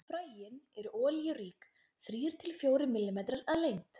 Fræin eru olíurík, þrír til fjórir millimetrar að lengd.